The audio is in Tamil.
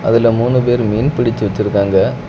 அதுல மூணு பேரு மீன் பிடிச்சி வச்சிருக்காங்க.